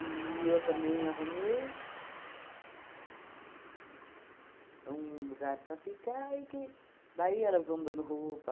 eu também arrumei um lugar para ficar e que daí elas vão dando roupa.